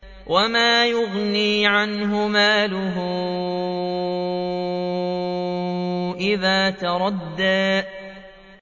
وَمَا يُغْنِي عَنْهُ مَالُهُ إِذَا تَرَدَّىٰ